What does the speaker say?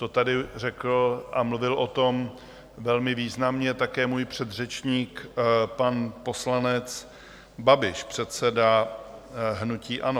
To tady řekl a mluvil o tom velmi významně také můj předřečník, pan poslanec Babiš, předseda hnutí ANO.